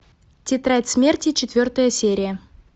тетрадь смерти четвертая серия